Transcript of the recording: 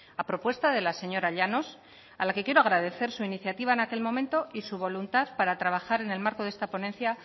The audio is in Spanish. a propuesta de la señora llanos a la que quiero agradecer su iniciativa en aquel momento y su voluntad para trabajar en el marco de esta ponencia